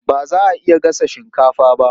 Ba za a iya gasa shinkafa ba.